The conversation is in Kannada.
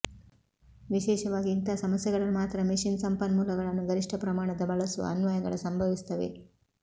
ವಿಶೇಷವಾಗಿ ಇಂತಹ ಸಮಸ್ಯೆಗಳನ್ನು ಮಾತ್ರ ಮೆಷಿನ್ ಸಂಪನ್ಮೂಲಗಳನ್ನು ಗರಿಷ್ಠ ಪ್ರಮಾಣದ ಬಳಸುವ ಅನ್ವಯಗಳ ಸಂಭವಿಸುತ್ತವೆ